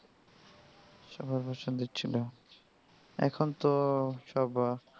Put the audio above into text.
সুন্দর ছিল এখন তো সব.